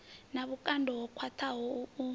na vhukando ho khwaṱhaho u